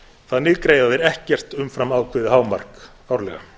þannig greiða þeir ekkert umfram ákveðið hámark árlega